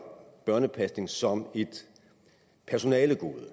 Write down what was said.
børnepasning som et personalegode og